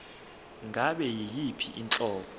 ngabe yiyiphi inhlobo